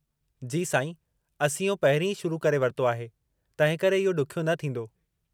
जी साईं, असीं इहो पहिरीं ई शुरू करे वरितो आहे तंहिंकरे इहो ॾुखियो न थींदो।